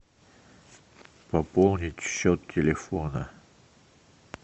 пополнить счет телефона